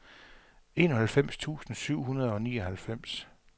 enoghalvfems tusind syv hundrede og nioghalvfems